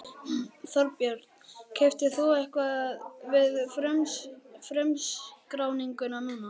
Þorbjörn: Keyptir þú eitthvað við frumskráninguna núna?